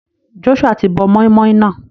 Joshua ti bọ moin-moin náà.